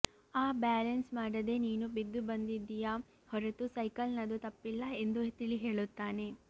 ಆ ಬ್ಯಾಲೆನ್ಸ್ ಮಾಡದೆ ನೀನು ಬಿದ್ದು ಬಂದಿದ್ದೀಯಾ ಹೊರತು ಸೈಕಲ್ನದ್ದು ತಪ್ಪಿಲ್ಲಎಂದು ತಿಳಿಹೇಳುತ್ತಾನೆ